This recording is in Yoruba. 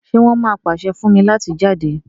ṣe won má pase fún mí láti jáde?